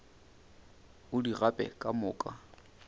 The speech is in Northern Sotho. o di gape ka moka